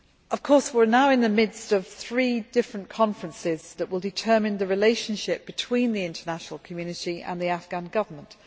Of course, we are now in the midst of three different conferences that will determine the relationship between the international community and the Afghan Government.